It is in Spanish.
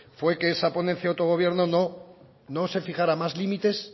fue que en esa ponencia de autogobierno no se fijara más límites